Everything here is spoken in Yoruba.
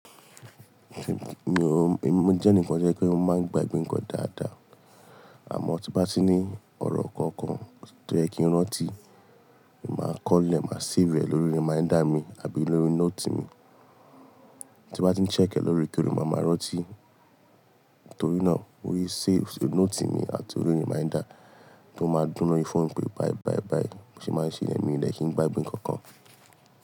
Mi o, mi mo jẹ́ eni ǹkan to jẹ́ pé mo máa ń gbagbe nkan dáadáa. Àmọ́ tí n bá ti ní ọ̀rọ̀ kankan tó jẹ́ kí n rántí, màá kọ́ lẹ̀ máa save e lórí reminder mi àbí lórí note mi. Tí n bá ti ń check e lórekoore máa máa rántí. Torí náà, mo rí save sí note mi àti orí reminder tó máa ń dún lórí fóònù pé bye bye bye. Mo sì máa ń ṣe ilẹ̀ mi lẹ́kìí gba ìbín kankan.